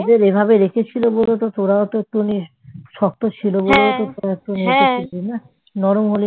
যেভাবে রেখেছিল বলেই তো তোরাও তো একটুখানি শক্ত ছিল বলেই তো তোরা একটু ছিলি না নরম হলে